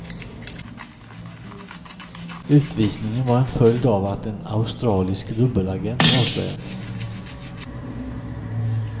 Utvisningen var en följd av att en australisk dubbelagent avslöjats.